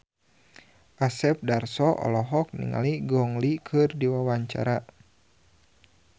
Asep Darso olohok ningali Gong Li keur diwawancara